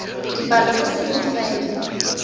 dipalo go se nne faele